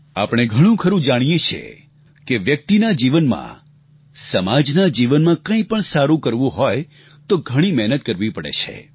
આપણે ઘણુંખરું જાણીએ છીએ કે વ્યક્તિના જીવનમાં સમાજના જીવનમાં કંઈ પણ સારું કરવું હોય તો ઘણી મહેનત કરવી પડે છે